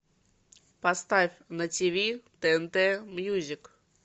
поставь на тв тнт мьюзик